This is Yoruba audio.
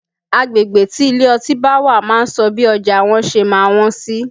Agbegbe tí ilé ọtí bá wà máa ń sọ bí ọjà wọn ṣe máa wọ́n sí